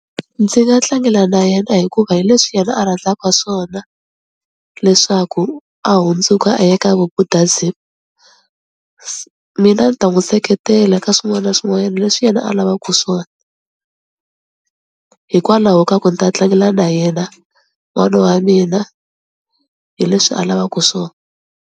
Ndzi nga tlangela na yena hikuva hi leswi yena a rhandzaka swona leswaku a hundzuka a ya ka Vubudhasm, mina ni ta n'wi seketela la ka swin'wana na swin'wanyana leswi yena a lavaka swona, hikwalaho ka ku ni ta tlangela na yena n'wana wa mina hi leswi a lavaku swona.